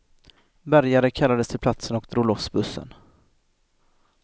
Bärgare kallades till platsen och drog loss bussen.